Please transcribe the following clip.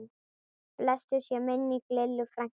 Blessuð sé minning Lillu frænku.